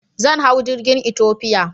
Zan hau jirgin Ethiopia.